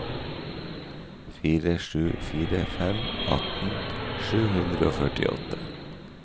fire sju fire fem atten sju hundre og førtiåtte